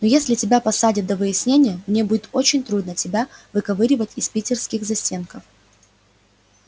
но если тебя посадят до выяснения мне будет очень трудно тебя выковыривать из питерских застенков